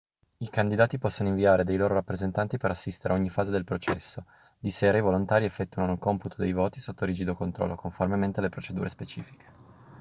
i candidati possono inviare dei loro rappresentanti per assistere a ogni fase del processo di sera i volontari effettuano il computo dei voti sotto rigido controllo conformemente alle procedure specifiche